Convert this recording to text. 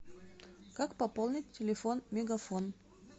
как пополнить телефон мегафон